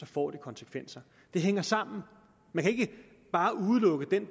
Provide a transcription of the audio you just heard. får det konsekvenser det hænger sammen man kan ikke bare udelukke den